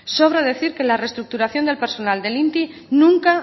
sobra decir que la reestructuración del personal del inti nunca